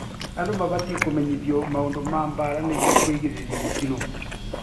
Andü mabatiĩ kũmenyithio maũndũ ma bara nĩguo kũgirĩrĩria mĩtino